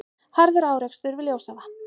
Harður árekstur við Ljósavatn